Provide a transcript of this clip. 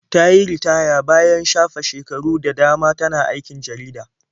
Ta yi ritaya bayan shafe shekaru da dama tana aikin jarida.